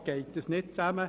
Das passt nicht zusammen.